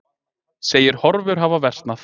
Segir horfur hafa versnað